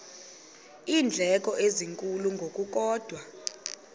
iindleko ezinkulu ngokukodwa